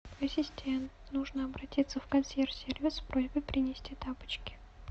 ассистент нужно обратиться в консьерж сервис с просьбой принести тапочки